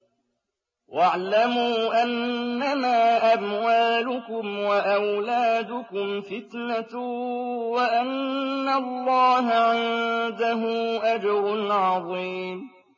وَاعْلَمُوا أَنَّمَا أَمْوَالُكُمْ وَأَوْلَادُكُمْ فِتْنَةٌ وَأَنَّ اللَّهَ عِندَهُ أَجْرٌ عَظِيمٌ